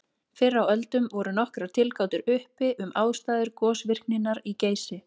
Fyrr á öldum voru nokkrar tilgátur uppi um ástæður gosvirkninnar í Geysi.